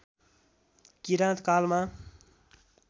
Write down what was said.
किराँत कालमा